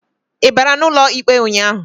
Ị bara n'ụlọ ikpe ụnyaahụ?